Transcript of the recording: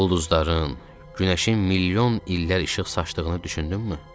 Ulduzların, günəşin milyon illər işıq saçdığını düşündünmü?